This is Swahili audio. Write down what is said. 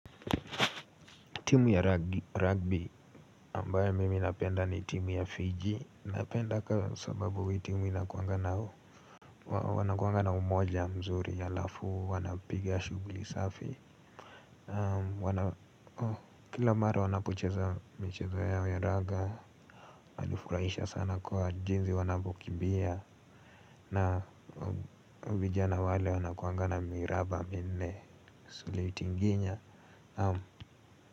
Timu ya rugby ambayo mimi napenda ni timu ya Fiji. Napenda kwa sababu hii timu inakuanga na umoja mzuri alafu, wanapiga shughuli safi. Kila mara wanapocheza michezo yao ya raga, wanifurahisha sana kwa jinsi wanapokimbia. Na vijana wale wanakuanga na miraba minne suli tinginya.